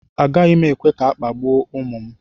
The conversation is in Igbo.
Agaghị m ekwe ka a kpagbuo ụmụ m